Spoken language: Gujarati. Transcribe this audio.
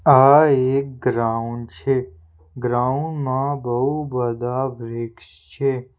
આ એક ગ્રાઉન્ડ છે ગ્રાઉન્ડ માં બહુ બધા વૃક્ષ છે.